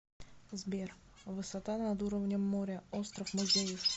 сбер высота над уровнем моря остров музеев